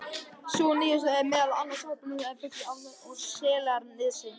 Sú síðastnefnda setur meðal annars áberandi svip á fuglalífið á Álftanesi og Seltjarnarnesi.